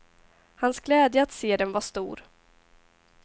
Hans glädje att se dem var stor.